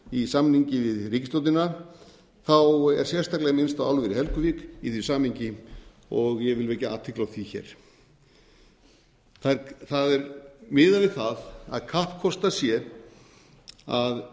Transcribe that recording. í samningi við ríkisstjórnina er sérstaklega minnst á álver í helguvík í því samhengi og ég vil vekja athygli á því hér það er miðað við það að kappkostað sé að